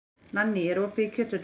Nanný, er opið í Kjöthöllinni?